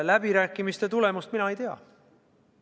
Läbirääkimiste tulemust mina ei tea.